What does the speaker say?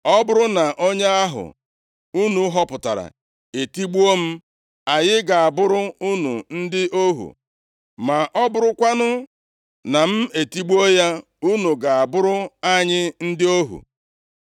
Ọ bụrụ na onye ahụ unu họpụtara etigbuo m, anyị ga-abụrụ unu ndị ohu, ma ọ bụrụkwanụ na m etigbuo ya, unu ga-abụrụ anyị ndị ohu!”